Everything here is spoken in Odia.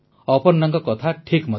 ଅପର୍ଣ୍ଣାଙ୍କ କଥା ଠିକ୍ ମଧ୍ୟ